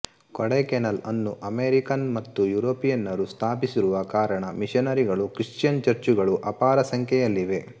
ಕೊಡೈಕೆನಾಲ್ ಅನ್ನು ಅಮೇರಿಕನ್ ಮತ್ತು ಯೂರೋಪಿಯನ್ನರು ಸ್ಥಾಪಿಸಿರುವ ಕಾರಣ ಮಿಷನರಿಗಳು ಕ್ರಿಶ್ಚಿಯನ್ ಚರ್ಚುಗಳು ಅಪಾರ ಸಂಖ್ಯೆಯಲ್ಲಿವೆ